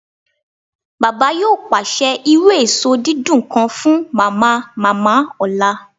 Baba yoo paṣẹ iru eso didun kan fun Mamamama ọla